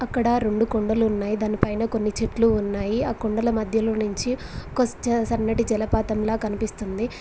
ఇక్కడ రొండు కొండలు ఉన్నాయి దానిపైన కొన్ని చెట్లు ఉన్నాయి ఆ కొండల మధ్యలో నించి ఒక చ సన్నటి జలపాతంలా కనిపిస్తుంది.